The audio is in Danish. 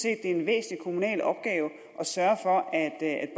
er en væsentlig kommunal opgave at sørge for at